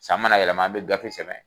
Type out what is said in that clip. San mana yɛlɛma an mi gafe sɛbɛn